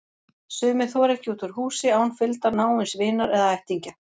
Sumir þora ekki út úr húsi án fylgdar náins vinar eða ættingja.